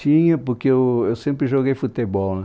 Tinha, porque eu eu sempre joguei futebol né